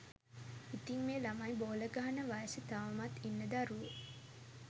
ඉතිං මේ ළමයි බෝල ගහන වයසෙ තවමත් ඉන්න දරුවො